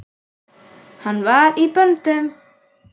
Hann var í böndum.